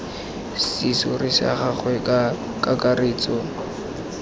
serori sa gagwe ka kakaretso